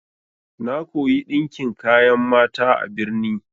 Na koya ɗinkin kayan mata a birni.